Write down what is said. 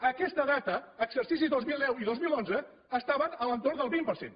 a aquesta data exercici dos mil deu i dos mil onze estaven a l’entorn del vint per cent